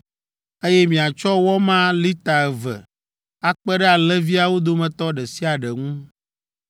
eye miatsɔ wɔ ma lita eve akpe ɖe alẽviawo dometɔ ɖe sia ɖe ŋu.